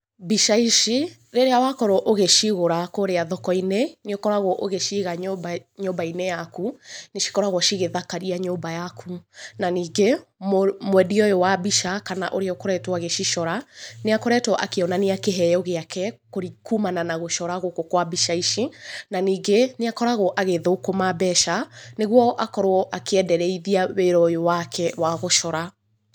Mbica ici rĩrĩa wakorwo ũgĩcigũra kũrĩa thoko-inĩ, nĩ ũkoragwo ũgĩciga nyũmba-inĩ yaku, nĩ cikoragwo cigĩthakaria nyũmba yaku. Na ningĩ, mwendia ũyũ wa mbica kana ũrĩa ũkoretwo agĩcicora nĩ akoretwo akĩonania kĩheo gĩake kumana na gũcora gũkũ kwa mbica ici, na ningĩ nĩ akoragwo agĩthũkũma mbeca nĩ guo akorwo akĩendereithia wĩra ũyũ wake wa gũcora.